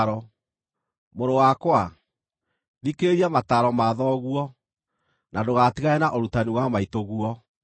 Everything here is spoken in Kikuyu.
Mũrũ wakwa, thikĩrĩria mataaro ma thoguo, na ndũgatigane na ũrutani wa maitũguo.